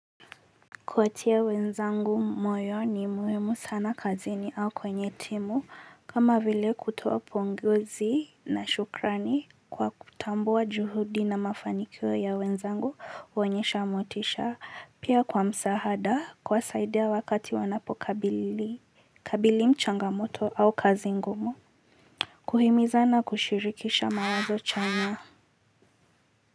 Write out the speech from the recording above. Kuwatia wenzangu moyo ni muhimu sana kazini au kwenye timu kama vile kutoa pongezi na shukrani kwa kutambua juhudi na mafanikio ya wenzangu huonyesha motisha pia kwa msaada kuwasaidia wakati wanapokabili kabili mchangamoto au kazi ngumu. Kuhimizana kushirikisha mawazo chanya kwa hivyo.